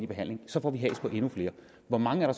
behandling så får vi has på endnu flere hvor mange er